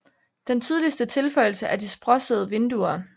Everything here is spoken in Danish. Den tydeligste tilføjelse er de sprossede vinduer